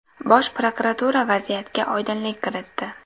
Bosh prokuratura vaziyatga oydinlik kiritdi.